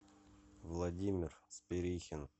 владимир спирихин